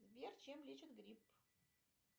сбер чем лечат грипп